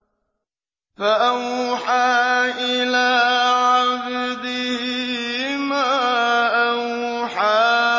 فَأَوْحَىٰ إِلَىٰ عَبْدِهِ مَا أَوْحَىٰ